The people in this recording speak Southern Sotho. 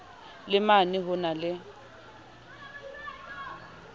le mane ho na le